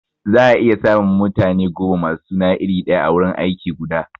Za a iya samun mutane goma masu suna iri daya a wurin aiki guda